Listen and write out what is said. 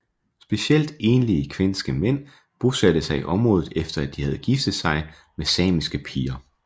Specielt enlige kvenske mænd bosatte sig i området efter at de havde giftet sig med samiske piger